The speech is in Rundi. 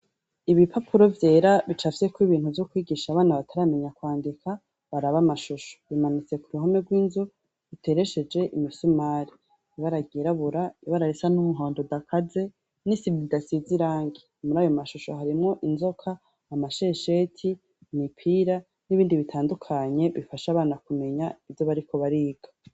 Ibi papuro vyera bicafyeko ibintu vy'ukwigisha abana bataramenya kwandika baraba amashusho bimanutse ku ruhame rw'inzu uteresheje imisumari ibaragerabura ibararisa n'umuhondo udakaze n'isivy idasizirange umuri ayo mashusho harimwo inzoka amashesheti imipira n'ibindi bitandukanye bifasha abana kumenya ivyo bariko bariga.